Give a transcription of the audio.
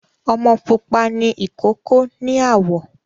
Ọmọ pupa ni ìkókó ní àwọ̀